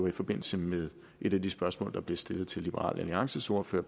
i forbindelse med et af de spørgsmål der blev stillet til liberal alliances ordfører